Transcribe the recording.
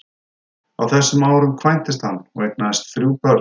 Á þessum árum kvæntist hann og eignaðist þrjú börn.